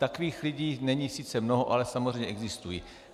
Takových lidí není sice mnoho, ale samozřejmě existují.